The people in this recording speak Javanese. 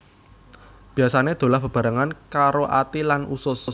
Biasané dolah bebarengan karo ati lan usus